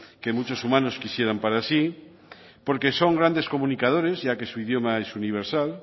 que muchos humanos quisieran para sí porque son grandes comunicadores ya que su idioma es universal